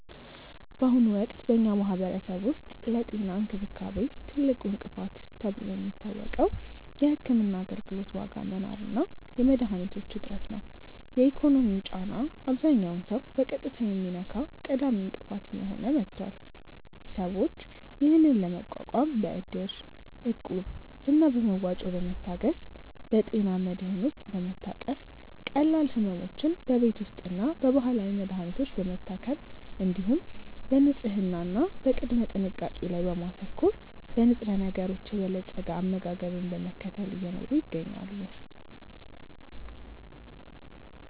በአሁኑ ወቅት በኛ ማህበረሰብ ውስጥ ለጤና እንክብካቤ ትልቁ እንቅፋት ተብሎ የሚታወቀው የሕክምና አገልግሎት ዋጋ መናር እና የመድኃኒቶች እጥረት ነው። የኢኮኖሚው ጫና አብዛኛውን ሰው በቀጥታ የሚነካ ቀዳሚ እንቅፋት እየሆነ መጥቷል። ሰዎች ይህንን ለመቋቋም በእድር፣ እቁብ እና በመዋጮ በመታገዝ፣ በጤና መድህን ውስጥ በመታቀፍ፣ ቀላል ሕመሞችን በቤት ውስጥና በባህላዊ መድሀኒቶች በመታከም፣ እንዲሁም በንጽህና እና በቅድመ ጥንቃቄ ላይ በማተኮር፣ በንጥረነገሮች የበለፀገ አመጋገብን በመከተል እየኖሩ ይገኛሉ።